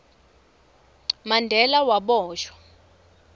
mandela waboshwa